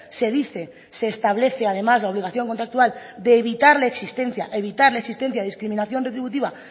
se dice se establece además la obligación contractual de evitar la existencia evitar la existencia de discriminación retributiva